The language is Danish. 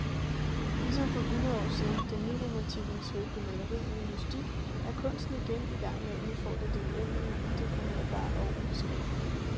Ligesom for hundrede år siden, da nyromantiken svøbte maleriet ind i mystik, er kunsten igen i gang med at udfordre det uendelige, udefinerbare og ubeskrivelige.